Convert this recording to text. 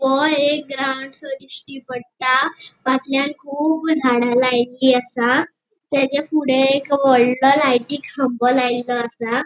ह्यो एक ग्राउंड सो दिश्टी पट्टा फाटल्यान कुब झाडा लायिल्ली आसा तेचे फुड़े एक वोडलों लाइटी खाम्बो लायलो आसा.